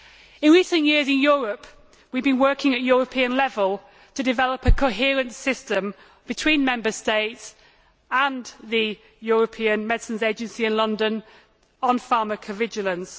In recent years in Europe, we have been working at European level to develop a coherent system between Member States and the European Medicines Agency in London on pharmacovigilance.